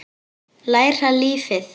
Læra lífið.